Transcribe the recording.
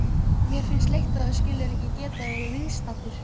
Mér finnst leitt að þú skulir ekki geta verið viðstaddur.